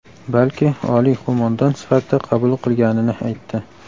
balki oliy qo‘mondon sifatida qabul qilganini aytdi.